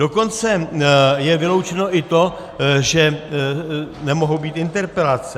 Dokonce je vyloučeno i to, že nemohou být interpelace.